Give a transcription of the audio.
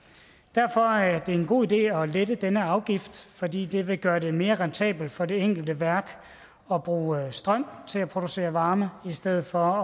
derfor er det en god idé at lette denne afgift fordi det vil gøre det mere rentabelt for det enkelte værk at bruge strøm til at producere varme i stedet for